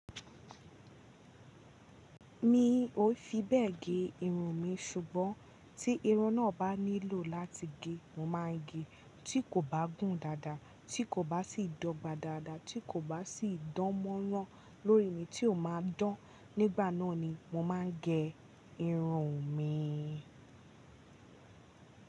Mi ò fi bẹ́ẹ̀ ge irun mi ṣùgbọ́n tí irun náà bá nílò láti ge, mo máa n gé. Tí kò bá gùn dáadáa, tí kò bá sì dọ́gba dáadáa, tí kò bá sì dánmọ́rán lórí mi, tí ò máa dán. Nígbà náà ni mo máa n gẹ irun mi.